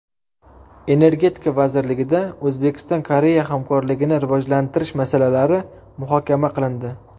Energetika vazirligida O‘zbekiston-Koreya hamkorligini rivojlantirish masalalari muhokama qilindi.